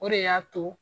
O de y'a to